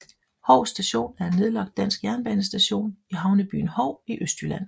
Hov Station er en nedlagt dansk jernbanestation i havnebyen Hov i Østjylland